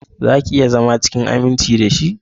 Zaki iya zama cikin aminci dashi?